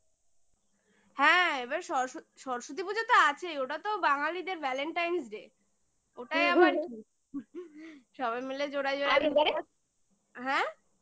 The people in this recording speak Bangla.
হ্যাঁ এবার সরস্বতী সরস্বতী পুজো তো আছেই ওটা তো বাঙ্গালীদের valentine's day ওটাই আবার সবাই মিলে জোড়ায় জোড়ায় আর এবারে হ্যাঁ?